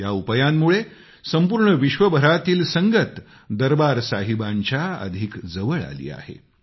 या उपायांमुळे संपूर्ण विश्वभरातील संगत दरबार साहिबाच्या अधिक जवळ आली आहे